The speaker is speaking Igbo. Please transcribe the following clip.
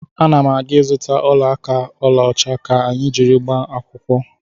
Ana m aga ịzụta ọla aka ọlaọcha ka anyị jiri gbaa akwụkwọ.